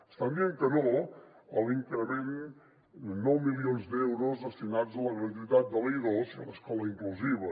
estan dient que no a l’increment de nou milions d’euros destinats a la gratuïtat de l’i2 i a l’escola inclusiva